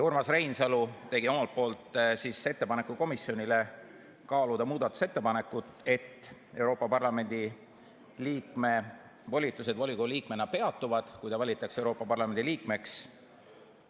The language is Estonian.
Urmas Reinsalu tegi omalt poolt ettepaneku komisjonile kaaluda muudatusettepanekut, et Euroopa Parlamendi liikme volitused volikogu liikmena peatuvad, kui ta valitakse Euroopa Parlamendi liikmeks.